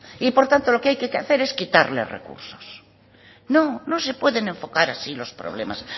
y por lo tanto lo que hay que hacer es quitarle recursos no no se puede enfocar así los problemas